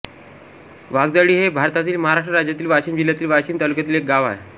वाघजाळी हे भारतातील महाराष्ट्र राज्यातील वाशिम जिल्ह्यातील वाशीम तालुक्यातील एक गाव आहे